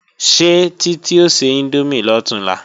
Ṣé Títí o se índómì lọ̀túnla?